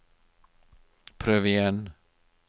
prøv igjen